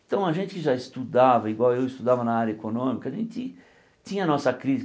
Então a gente que já estudava, igual eu estudava na área econômica, a gente tinha a nossa